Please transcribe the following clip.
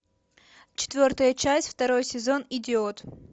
четвертая часть второй сезон идиот